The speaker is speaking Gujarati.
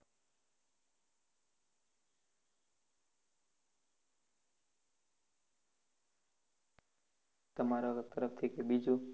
તમારે તરફથી કઈ બીજું